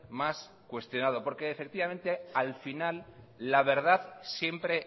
más cuestionado porque efectivamente al final la verdad siempre